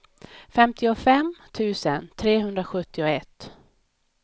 femtiofem tusen trehundrasjuttioett